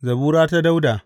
Zabura ta Dawuda.